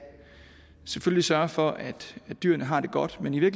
sørge for at dyrene har det godt men i